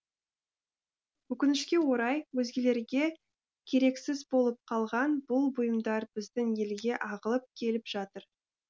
өкінішке орай өзгелерге керексіз болып қалған бұл бұйымдар біздің елге ағылып келіп жатыр